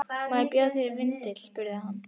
Má bjóða þér vindil? spurði hann.